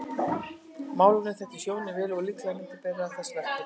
Málarinn þekkti hjónin vel og er líklegt að myndin beri þess merki.